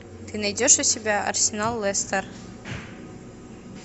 ты найдешь у себя арсенал лестер